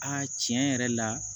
A tiɲɛ yɛrɛ la